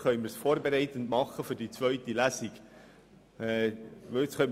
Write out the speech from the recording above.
Dann können wir das vorbereitend für die zweite Lesung machen.